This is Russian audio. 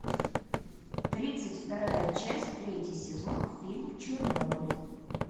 тридцать вторая часть третий сезон фильм чернобыль